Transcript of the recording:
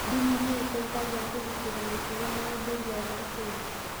Ndini nĩ iteithagia kũgitĩra mĩtugo na ũndũire wa Akenya.